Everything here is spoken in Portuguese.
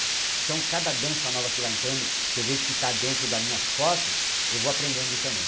Então, cada dança nova que vai entrando, que eu vejo que tá dentro das minhas posses, eu vou aprendendo também.